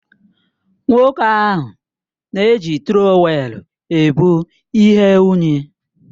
Nwoke ahụ na-eji Trọwèlu ebu ihe unyi